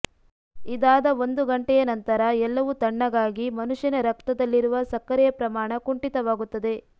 ಇದಾದ ಒಂದು ಗಂಟೆಯ ನಂತರ ಎಲ್ಲವೂ ತಣ್ಣಗಾಗಿ ಮನುಷ್ಯನ ರಕ್ತದಲ್ಲಿರುವ ಸಕ್ಕರೆಯ ಪ್ರಮಾಣ ಕುಂಠಿತವಾಗುತ್ತದೆ